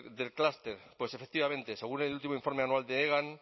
del clúster pues efectivamente según el último informe anual de hegan